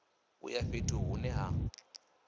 u ya fhethu hune ha